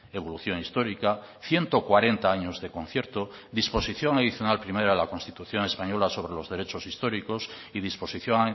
evolución histórica ciento cuarenta años de concierto disposición adicional primera de la constitución española sobre los derechos históricos y disposición